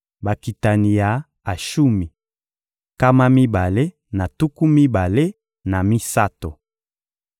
Bakitani ya Ashumi: nkama mibale na tuku mibale na misato.